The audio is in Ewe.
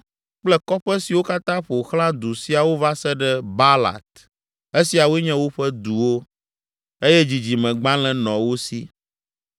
kple kɔƒe siwo katã ƒo xlã du siawo va se ɖe Baalat. Esiawoe nye woƒe duwo, eye dzidzimegbalẽ nɔ wo si.